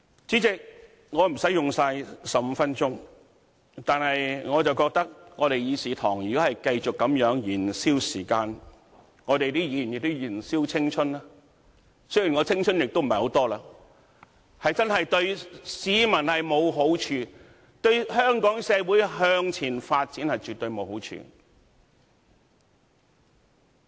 主席，我無需盡用15分鐘，但我認為議事堂如果繼續這樣燃燒時間，議員也在燃燒青春——雖然我的青春所餘無幾——這樣真的對市民沒有好處，對香港社會向前發展絕對沒有好處。